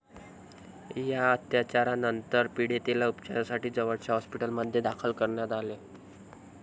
या अत्याचारानंतर पीडितेला उपचारांसाठी जवळच्या हॉस्पिटलमध्ये दाखल करण्यात आले.